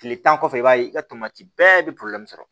Kile tan kɔfɛ i b'a ye i ka tomati bɛɛ be sɔrɔ